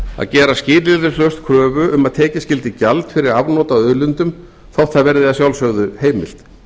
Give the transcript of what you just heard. að gera skilyrðislaust kröfu um að tekið skyldi gjald fyrir afnot af auðlindum þó það verði að sjálfsögðu heimilt